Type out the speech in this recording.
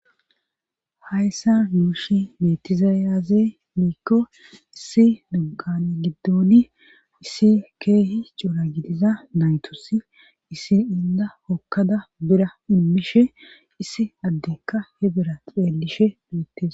Hayssa nuushi metizayaze miikko issi dugqane giddoni issi keehi cora gidiza naytosi issi inda hokkada bira ummishe issi addeka he bira ceelishe beettes